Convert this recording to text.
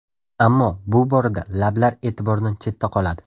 Ammo bu borada lablar e’tibordan chetda qoladi.